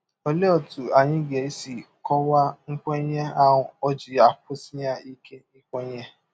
Ọlee ọtụ anyị ga - esi kọwaa nkwenye a ọ ji akwụsighị ike kwenye?